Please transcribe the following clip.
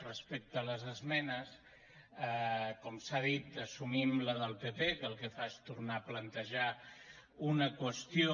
respecte a les esmenes com s’ha dit assumim la del pp que el que fa és tornar a plantejar una qüestió